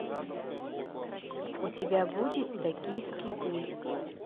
у тебя будет токийский гуль